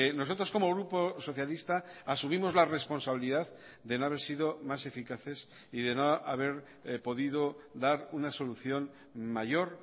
nosotros como grupo socialista asumimos la responsabilidad de no haber sido más eficaces y de no haber podido dar una solución mayor